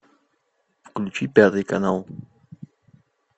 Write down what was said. включи пятый канал